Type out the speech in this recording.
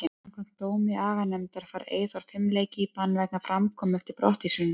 Samkvæmt dómi aganefndarinnar fær Eyþór fimm leiki í bann vegna framkomu eftir brottvísunina.